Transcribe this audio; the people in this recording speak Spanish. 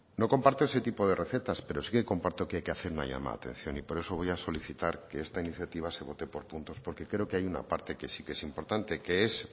no comparto ese tipo de recetas pero sí comparto que hay que hacer una llamada de atención y por eso voy a solicitar que esta iniciativa se vote por puntos porque creo que hay una parte que sí que es importante que es